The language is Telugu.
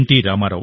రామారావు